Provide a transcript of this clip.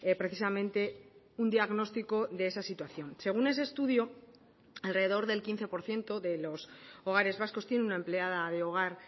precisamente un diagnóstico de esa situación según ese estudio alrededor del quince por ciento de los hogares vascos tienen una empleada de hogar